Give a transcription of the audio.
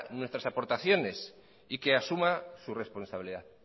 nuestras aportaciones y que asuma su responsabilidad